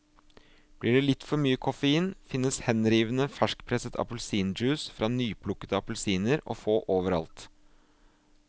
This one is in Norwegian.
Blir det litt for mye koffein, finnes henrivende ferskpresset appelsinjuice fra nyplukkede appelsiner å få overalt.